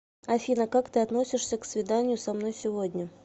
афина как ты относишься к свиданию со мной сегодня